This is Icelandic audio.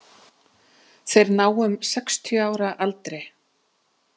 Þeir ná um sextíu ára aldri.